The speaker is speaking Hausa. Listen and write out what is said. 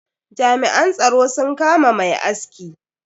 Jami'an tsaro sun kama mai aski.